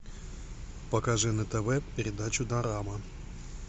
покажи на тв передачу дорама